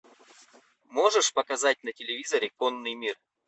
можешь показать на телевизоре конный мир